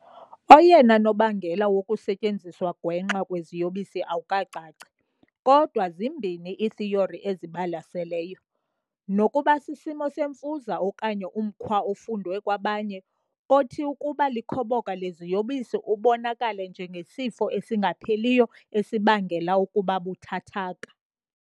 Oyena nobangela wokusetyenziswa gwenxa kweziyobisi awukacaci, kodwa zimbini iithiyori ezibalaseleyo- nokuba sisimo semfuza okanye umkhwa ofundwe kwabanye, othi, ukuba likhoboka leziyobisi, ubonakale njengesifo esingapheliyo esibangela ukuba buthathaka .